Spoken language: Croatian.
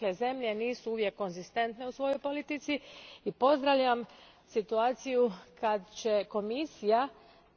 Zemlje nisu uvijek konzistentne u svojoj politici i pozdravljam situaciju kad će Komisija